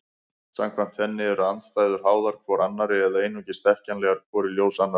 Samkvæmt henni eru andstæður háðar hvor annarri eða einungis þekkjanlegar hvor í ljós annarrar.